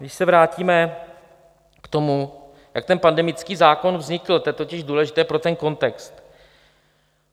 Když se vrátíme k tomu, jak ten pandemický zákon vznikl, to je totiž důležité pro ten kontext.